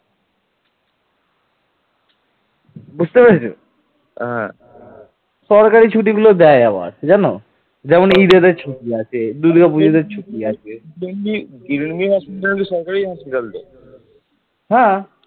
তার নির্দেশে ভ্রাতা জয়পাল রাষ্ট্রকূট রাজা অমোঘবর্ষকে পরাজিত করে উড়িষ্যা পুনর্দখল করেন এরপর উড়িষ্যা চিরস্থায়ীভাবে পাল সাম্রাজ্যের শাসনাধীনে ছিল